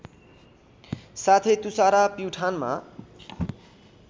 साथै तुषारा प्युठानमा